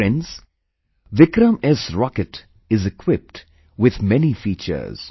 Friends, 'VikramS' Rocket is equipped with many features